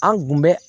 An kun bɛ